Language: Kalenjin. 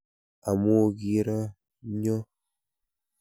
Amu kiro chnyo.